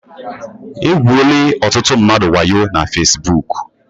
E gwuole ọtụtụ mmadụ waayo na fasibuuku.